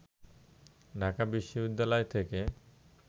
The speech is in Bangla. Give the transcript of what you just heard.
ঢাকা বিশ্ববিদ্যালয় থেকে